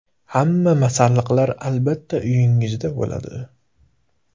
Hamma masalliqlar albatta uyingizda bo‘ladi.